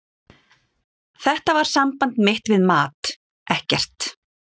Þetta var samband mitt við mat, ekkert.